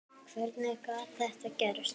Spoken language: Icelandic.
Hvernig gat þetta gerst?